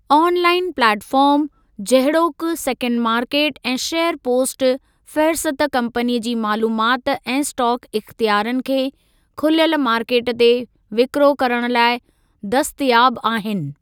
On line platform, जहिड़ोकि सेकंडु market ऐं शेयर पोस्ट, फ़ेहरिस्त कम्पनी जी मालूमात ऐं स्टाक इख्तियारनि खे खुलियलु मार्केट ते विकिरो करणु लाइ दस्तयाब आहिनि।